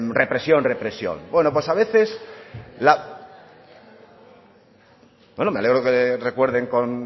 represión represión bueno pues a veces bueno me alegro que recuerden con